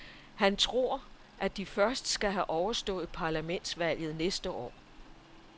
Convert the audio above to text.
Han tror, at de først skal have overstået parlamentsvalget næste år.